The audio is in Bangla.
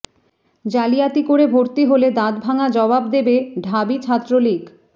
জালিয়াতি করে ভর্তি হলে দাঁতভাঙা জবাব দেবে ঢাবি ছাত্রলীগ